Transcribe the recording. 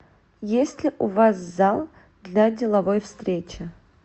есть ли у вас зал для деловой встречи